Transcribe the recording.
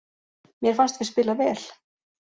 Mér fannst við spila vel.